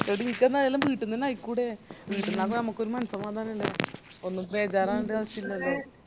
എടി ഇനിക്കെന്നതെല്ലാം വീട്ടിന്നന്നെ ആയിക്കൂടെ വീട്ടീന്നാവുമ്പോ ഞമ്മക്കൊരു മനസമാധാനം ഇണ്ടാവും ഞമ്മക് ബേജാറാവണ്ട ഒരാവശായില്ലലോ